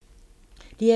DR2